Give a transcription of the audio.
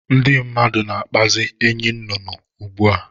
Ndị mmadụ na-akpazi enyinnụnụ ugbu a